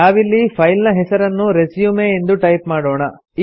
ನಾವಿಲ್ಲಿ ಫೈಲ್ ನ ಹೆಸರನ್ನು ರೆಸ್ಯೂಮ್ ಎಂದು ಟೈಪ್ ಮಾಡೋಣ